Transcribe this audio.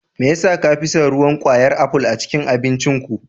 Me yasa ka fi son ruwan kwayar aful a cikin abincinku.